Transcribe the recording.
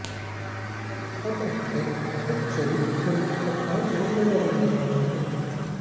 अब एक्टर बहुत जल्द फिल्म पठान में नजर आने वाले हैं